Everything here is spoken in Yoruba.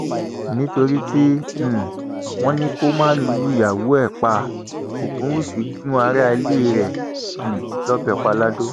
nítorí tí um wọn ní kó má lùyàwó ẹ pa ògúnwúsì gún aráalé rẹ um lọbẹ pa lado